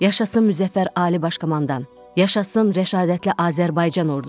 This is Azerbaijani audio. Yaşasın müzəffər Ali Baş Komandan, yaşasın rəşadətli Azərbaycan Ordusu.